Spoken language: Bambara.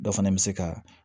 Dɔ fana bɛ se ka